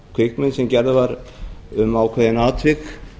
kvikmynd sem gerð var um ákveðin atvik